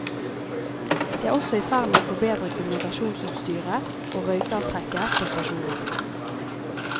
De er også i ferd med å forbedre kommunikasjonsutstyret og røykavtrekket på stasjoner.